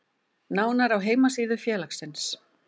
Nánar á heimasíðu félagsins